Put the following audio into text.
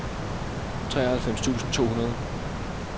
treoghalvfems tusind to hundrede